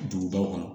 Dugubaw kɔnɔ